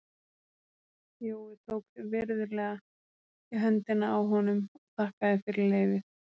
Jói tók virðulega í höndina á honum og þakkaði fyrir leyfið.